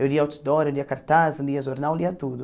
Eu lia outdoor, eu lia cartaz, eu lia jornal, eu lia tudo.